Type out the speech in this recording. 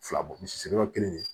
Fila bɔ misi siri yɔrɔ kelen